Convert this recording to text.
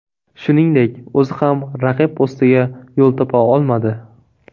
Shuningdek, o‘zi ham raqib postiga yo‘l topa olmadi.